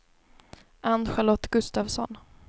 Ann-Charlotte Gustavsson